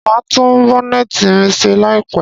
Màá tún Bonnet mi ṣe láìpẹ̀